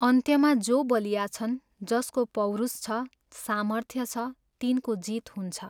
अन्त्यमा जो बलिया छन्, जसको पौरुष छ, सामर्थ्य छ, तिनको जित हुन्छ।